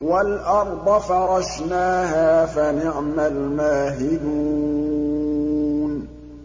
وَالْأَرْضَ فَرَشْنَاهَا فَنِعْمَ الْمَاهِدُونَ